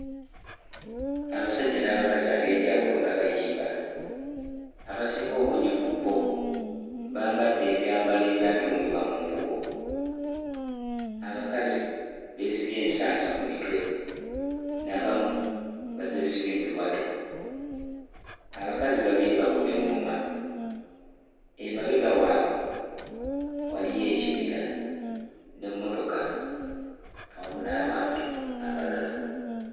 Abasajja n'abakazi ab'enjawulo nga bayimba abasinga obungi ku bo bambadde ebyambalo ebyatungibwa mu mbugo abakazi beesibye ensansa ku mitwe n'abamu bazeesibye mbiwato. Abakazi babiri bakuba eᵑᵑoma, emabega waabwe waliyo ekibira n'emmotoka awamu n'abantu abalala.